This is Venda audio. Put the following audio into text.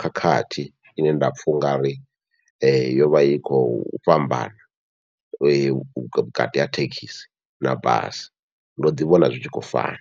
khakhathi ine nda pfha ungari yovha i khou fhambana vhukati ha thekhisi na basi ndo ḓi vhona zwi tshi khou fana.